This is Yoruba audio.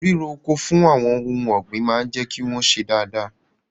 Ríro oko fún àwọn ohun ọ̀gbìn máa jẹ́ kí wọ́n ṣe dáadáa.